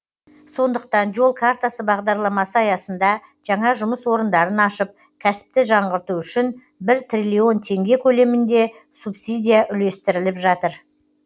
сондықтан жол картасы бағдарламасы аясында жаңа жұмыс орындарын ашып кәсіпті жаңғырту үшін бір триллион теңге көлемінде субсидия үлестіріліп жатыр